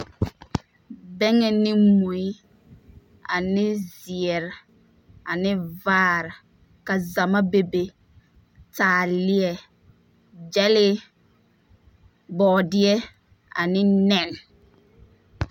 Bɛŋɛ ne mui, ane zeɛre, ane vaare, ka zama bebe, taaleɛ, gyɛlee, bɔɔdeɛ ane nɛne!